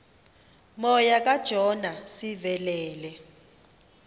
moya kajona sivelele